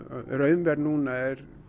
raunverð núna er